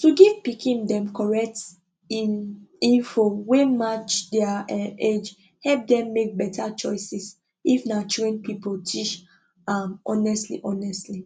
to give pikin dem correct in info wey match their um age help dem make better choices if na trained people tish am honestly honestly